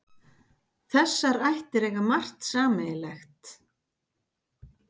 Þessar ættir eiga margt sameiginlegt.